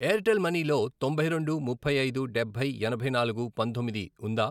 Airtel money లో తొంభై రెండు, ముప్పై ఐదు, డబ్బై, యాభై నాలుగు, పంతొమ్మిది, ఉందా?